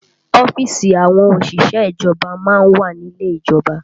Ọ́fíìsì àwọn òṣìṣẹ́ ìjọba má ń wà ní ilé ìjọba